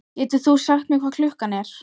Getur þú sagt mér hvað klukkan er?